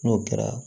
N'o kɛra